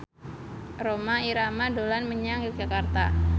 Rhoma Irama dolan menyang Yogyakarta